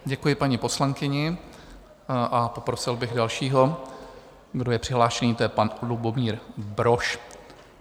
Děkuji paní poslankyni a poprosil bych dalšího, kdo je přihlášený, to je pan Lubomír Brož.